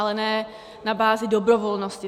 Ale ne na bázi dobrovolnosti.